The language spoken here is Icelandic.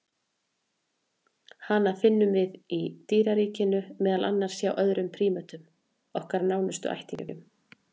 Hana finnum við í dýraríkinu, meðal annars hjá öðrum prímötum, okkar nánustu ættingjum.